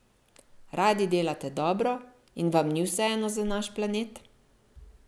Radi delate dobro in vam ni vseeno za naš planet?